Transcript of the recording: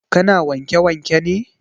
Ka na wanke wanke ne?